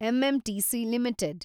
MMTC limited